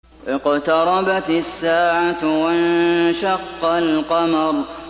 اقْتَرَبَتِ السَّاعَةُ وَانشَقَّ الْقَمَرُ